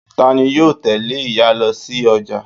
Tani yóò tẹ́lé ìyá lo sí ọjà